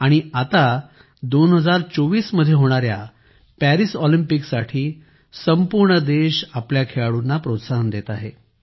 आणि आता 2024 मध्ये होणाऱ्या पॅरिस ऑलिम्पिकसाठी संपूर्ण देश आपल्या खेळाडूंना प्रोत्साहन देत आहे